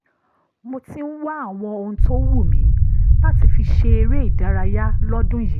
mo ti ń wá àwọn ohun tó wù mí láti fi ṣe eré ìdárayá lọ́dún yìí